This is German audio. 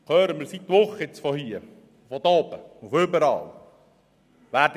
Das hören wir seit Wochen von dieser Seite und von überall her.